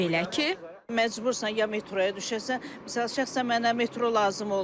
Belə ki, məcbursan ya metroya düşəsən, şəxsən mənə metro lazım olmur.